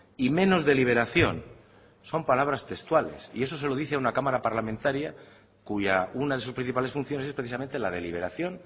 y menos deliberación son palabras textuales y eso se lo dice a una cámara parlamentaria cuya una de sus principales funciones es precisamente la deliberación